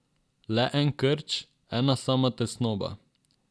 Le en krč, ena sama tesnoba.